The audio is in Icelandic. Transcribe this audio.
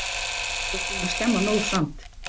Þú ert búin að skemma nóg samt!